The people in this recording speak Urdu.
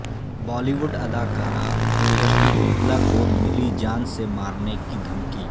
بالی ووڈ اداکارہ اوروشی روتلا کو ملی جان سے مارنے کی دھمکی